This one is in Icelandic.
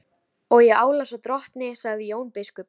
Og ég álasa drottni, sagði Jón biskup.